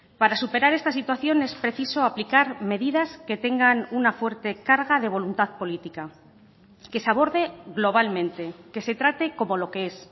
para superar esta situación es preciso aplicar medidas que tengan una fuerte carga de voluntad política que se aborde globalmente que se trate como lo que es